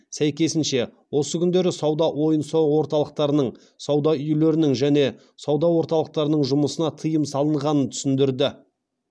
сәйкесінше осы күндері сауда ойын сауық орталықтарының сауда үйлерінің және сауда орталықтарының жұмысына тыйым салынғанын түсіндірді